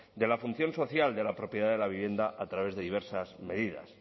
de la función social de la propiedad de la vivienda a través de diversas medidas